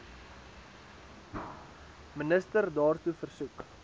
minister daartoe versoek